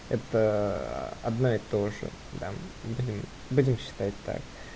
это а одна и то же да угу будем считать так